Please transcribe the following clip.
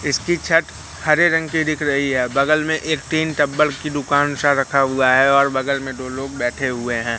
इसकी छत हरे रंग की दिख रही है बगल में एक टीन टब्बल की दुकान सा रखा हुआ है और बगल में दो लोग बैठे हुए हैं।